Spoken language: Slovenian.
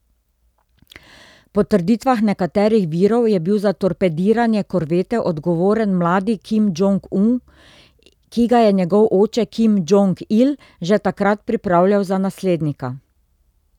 Po trditvah nekaterih virov je bil za torpediranje korvete odgovoren mladi Kim Džong Un, ki ga je njegov oče Kim Džong Il že takrat pripravljal za naslednika.